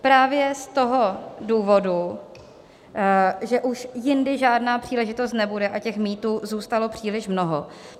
Právě z toho důvodu, že už jindy žádná příležitost nebude, a těch mýtů zůstalo příliš mnoho.